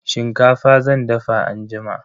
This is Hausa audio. Shinkafa zan dafa anjima.